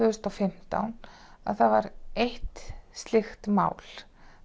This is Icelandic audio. þúsund og fimmtán var eitt slíkt mál